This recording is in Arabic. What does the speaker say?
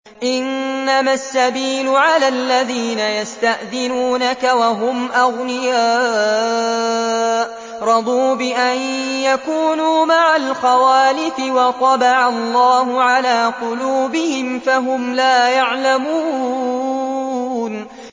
۞ إِنَّمَا السَّبِيلُ عَلَى الَّذِينَ يَسْتَأْذِنُونَكَ وَهُمْ أَغْنِيَاءُ ۚ رَضُوا بِأَن يَكُونُوا مَعَ الْخَوَالِفِ وَطَبَعَ اللَّهُ عَلَىٰ قُلُوبِهِمْ فَهُمْ لَا يَعْلَمُونَ